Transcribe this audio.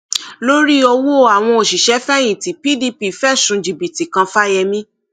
lórí ọwọ àwọn òṣìṣẹfẹyìntì pdp fẹsùn jìbìtì kan fáyemí